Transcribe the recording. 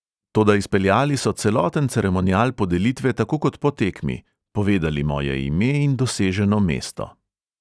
Toda izpeljali so celoten ceremonial podelitve tako kot po tekmi, povedali moje ime in doseženo mesto ...